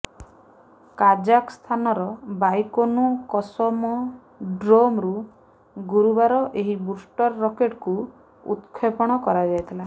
କାଜାକସ୍ତାନର Baikonur କସମୋ ଡ୍ରୋମ୍ରୁ ଗୁରୁବାର ଏହି ବୁଷ୍ଟର ରକେଟ୍କୁ ଉତକ୍ଷେପଣ କରାଯାଇଥିଲା